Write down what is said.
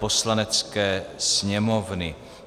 Poslanecké sněmovny